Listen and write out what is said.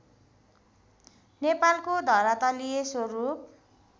नेपालको धरातलीय स्वरूप